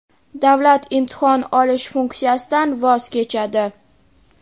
davlat imtihon olish funksiyasidan voz kechadi.